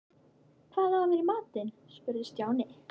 Hvað á að vera í matinn? spurði Stjáni.